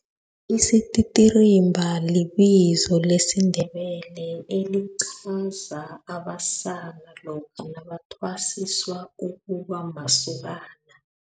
Isititirimba libizo lesiNdebele, elichaza abasana lokha nabathwasiswa ukubamasokana.